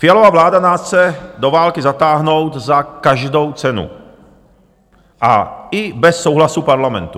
Fialova vláda nás chce do války zatáhnout za každou cenu a i bez souhlasu Parlamentu.